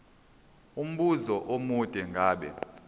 umbuzo omude ngabe